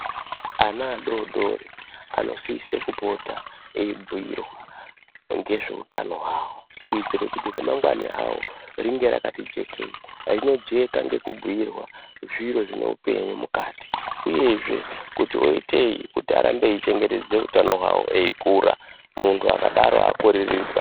Ana adodori anosise kupota ,eibhuirwa ngezveutano hwavo, kuitire kuti remangwani ravo ringe rakati jekei. Rinojeka ngekubhuirwa zviro zvinoupenyu mukati, uyezve kuti oitei kuti arambe eichengetedze utano hwavo eikura muntu akadaro akorereka.